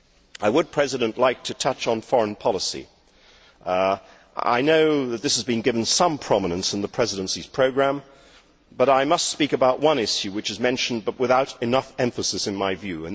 I would like to touch on foreign policy. I know that this has been given some prominence in the Presidency's programme, but I must speak about one issue which is mentioned, but without enough emphasis in my view.